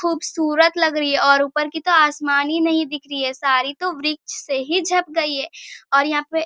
खूबसूरत लग रही है और ऊपर की तो आसमान ही नहीं दिख रही है | सारी तो वृछ से ही झप गई है और यहाँ पे --